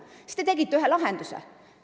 Siis te pakkusite välja ühe lahenduse.